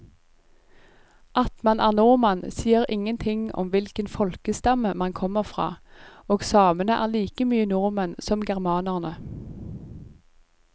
At man er nordmann sier ingenting om hvilken folkestamme man kommer fra, og samene er like mye nordmenn som germanerne.